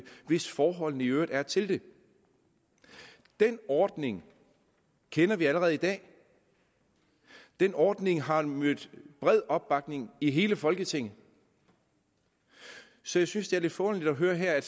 hvis forholdene i øvrigt er til det den ordning kender vi allerede i dag den ordning har mødt bred opbakning i hele folketinget så jeg synes det er lidt forunderligt at høre her at